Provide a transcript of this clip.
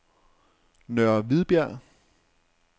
Nørre Hvidbjerg